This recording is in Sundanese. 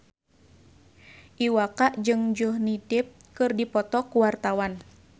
Iwa K jeung Johnny Depp keur dipoto ku wartawan